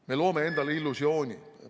Me loome endale illusiooni.